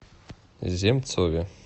земцове